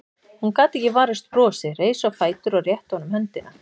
Hún gat ekki varist brosi, reis á fætur og rétti honum höndina.